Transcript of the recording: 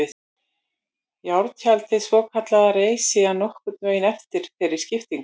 Járntjaldið svokallaða reis síðan nokkurn veginn eftir þeirri skiptingu.